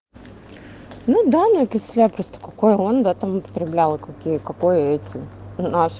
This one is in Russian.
ну да ну я представляю просто какой он да там отправлял како какой эти наш